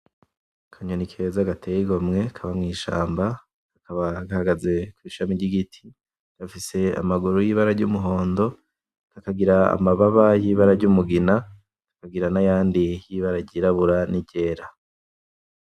Akanyoni keza gateye igomwe kaba mw'ishamba kaba gahagaze kw'ishami ry'igiti, gafise amaguru y'ibara ry'umuhondo, kakagira amababa y'ibara ry'umugina, kakagira nayandi y'ibara ryirabura n'iryera.